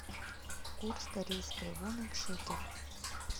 курс корейской воны к шекелю